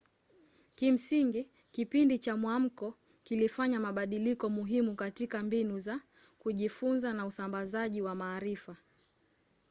kimsingi kipindi cha mwamko kilifanya mabadiliko muhimu katika mbinu za kujifunza na usambazaji wa maarifa